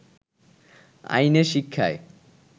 আইনে, শিক্ষায়